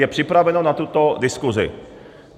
Je připraveno na tuto diskusi.